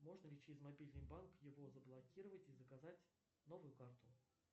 можно ли через мобильный банк его заблокировать и заказать новую карту